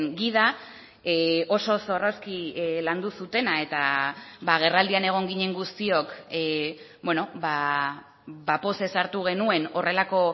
gida oso zorrozki landu zutena eta agerraldian egon ginen guztiok pozez hartu genuen horrelako